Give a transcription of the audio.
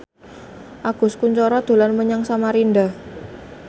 Agus Kuncoro dolan menyang Samarinda